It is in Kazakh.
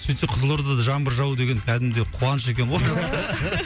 сөйте қызылордада жаңбыр жауу деген кәдімгідей қуаныш екен ғой